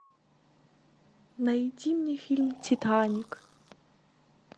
найди мне фильм титаник